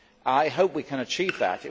I hope we can achieve that.